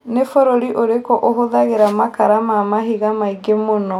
nĩ bũrũri ũrikũ ũhũthagira makara ma mahĩnga maĩngĩ mũno